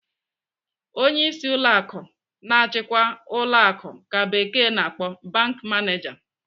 Onyeisi ụlọ akụ na-achikwa ụlọ akụ ka bekee na-akpọ 'bank manager.'